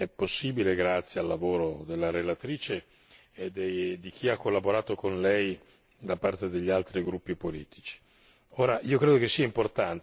Il risultato è possibile grazie al lavoro della relatrice e di chi ha collaborato con lei, da parte degli altri gruppi politici.